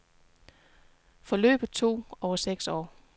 Forløbet tog over seks år.